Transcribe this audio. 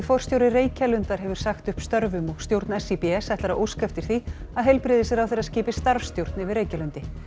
forstjóri Reykjalundar hefur sagt upp störfum og stjórn SÍBS ætlar að óska eftir því að heilbrigðisráðherra skipi starfsstjórn yfir Reykjalundi